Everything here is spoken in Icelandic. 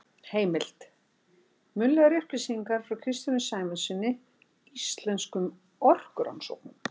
Heimild: Munnlegar upplýsingar frá Kristjáni Sæmundssyni, Íslenskum orkurannsóknum.